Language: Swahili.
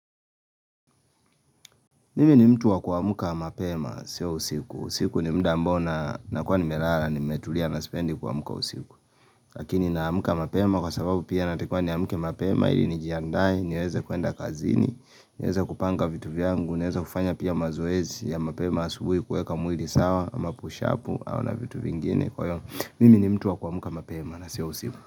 Mimi ni mtu wa kuamka mapema sio usiku. Usiku ni mda ambao na nakuwa nimelala nimetulia na sipendi kuamka usiku. Lakini naamka mapema kwa sababu pia natakiwa niamke mapema ili nijiandae niweze kuenda kazini, niweze kupanga vitu vyangu, niweze kufanya pia mazoezi ya mapema asubuhi kuweka mwili sawa ama pushapu au na vitu vingine kwa hiyo mimi ni mtu wa kuamka mapema na sio usiku.